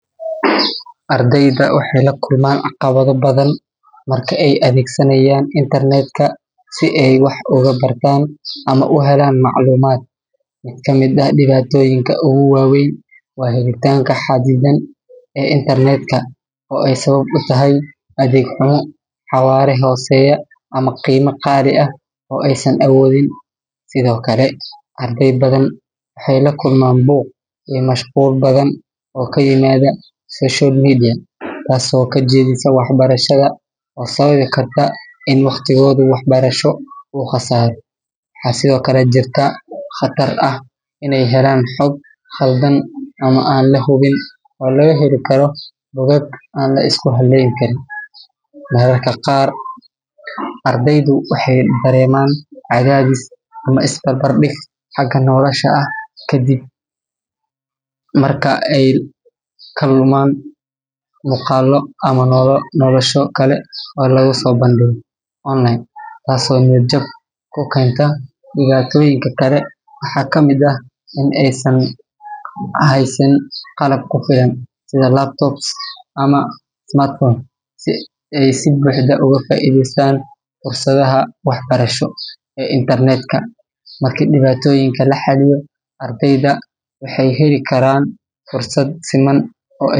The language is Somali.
Ardayda waxay lakulman caqabadha badhan marki ay athegsanayan internetka, si ay wax ugu bartan ama u helan maclumad. mid kamid ah dibatoyinka ugu waweyn wa helitanka hadidan ee internetka oo ay sawab utahay adeg cuna xawara hoseya ama qeyma qali ah oo ay san awodhin. sidhokale arday badhan waxay lakulman buuq iyo mashqul badhan oo kayimadha social media taaso kajedhisa wax barashadha oo sawabi Karta ina waqtigodha wax barasho u qasaro. waxa sithokale jirta qatar ah helan hog qaldan ama an lahubin oo lagaheli Karo codhad an lisku haleyn karin. Mararka qaar ardaydu waxay dareman cadhadhis ama is barbardig haka nolasha ah kadib. Marka ay kaluman muqalo ama nolosho kale oo lagaso bandiga online taaso niyad jab kukenta dibatoyinka kale waxa kamid ah in aysan haysanin qalabka kufilan sidhi laptops ama smart phone si ay si buxda ugu faidheystan fursadhaha wax barasho ee internetka. Marka dibatoyinka laxaliyo ardayda waxay heli karan fursad siman oo eh.